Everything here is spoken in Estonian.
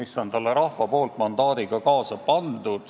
See käib rahva antud mandaadiga kaasas.